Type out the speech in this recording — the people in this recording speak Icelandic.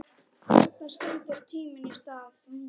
Þarna stendur tíminn í stað.